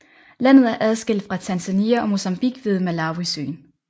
Landet er adskilt fra Tanzania og Mozambique ved Malawisøen